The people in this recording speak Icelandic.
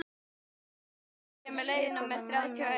Ég hafði aldrei séð þennan mann áður.